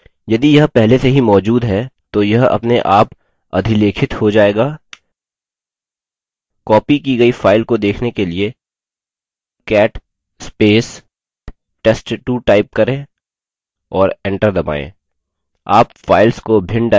यदि यह पहले से ही मौजूद है तो यह अपने आप अधिलेखित हो जायेगा copied की गई file को देखने के लिए $cat test2 type करें और एंटर दबायें